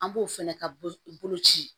An b'o fɛnɛ ka boloci